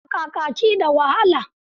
Busa kakaki da wahala.